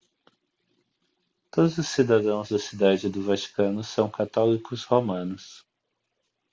todos os cidadãos da cidade do vaticano são católicos romanos